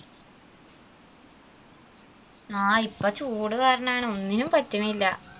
ആ ഇപ്പൊ ചൂടുകാരണമാണ് ഒന്നിനും പറ്റുന്നില്ല.